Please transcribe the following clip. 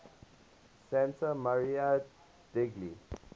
santa maria degli